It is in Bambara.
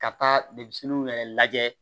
Ka taa denmisɛnninw yɛrɛ lajɛ